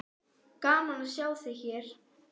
Gaman að sjá þig hér!